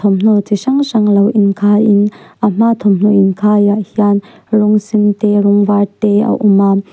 thawmhnaw chi hrang hrang lo in khai in a hma thawmhnaw inkhai ah hian rawng sen te rawng var te a a awm a.